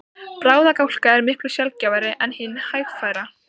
Bráðagláka er miklu sjaldgæfari en hin hægfara.